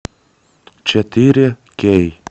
четыре кей